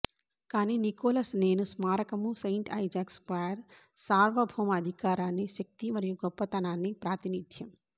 కానీ నికోలస్ నేను స్మారకము సెయింట్ ఐజాక్ స్క్వేర్ సార్వభౌమ అధికారాన్ని శక్తి మరియు గొప్పతనాన్ని ప్రాతినిధ్యం